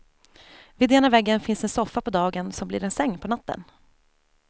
Vid ena väggen finns en soffa på dagen som blir en säng på natten.